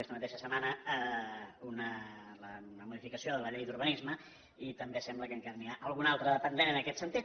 aquesta mateixa setmana la modificació de la llei d’urbanisme i també sembla que encara n’hi ha alguna d’altra de pendent en aquest sentit